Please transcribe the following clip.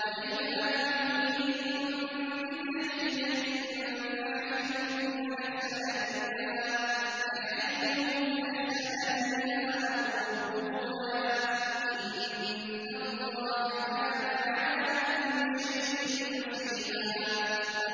وَإِذَا حُيِّيتُم بِتَحِيَّةٍ فَحَيُّوا بِأَحْسَنَ مِنْهَا أَوْ رُدُّوهَا ۗ إِنَّ اللَّهَ كَانَ عَلَىٰ كُلِّ شَيْءٍ حَسِيبًا